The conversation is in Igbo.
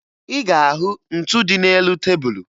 Ị ga-ahụ ntu dị n'elu tebulu